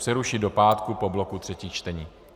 Přerušit do pátek po bloku třetích čtení.